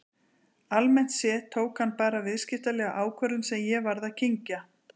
Almennt séð tók hann bara viðskiptalega ákvörðun sem ég varð að kyngja.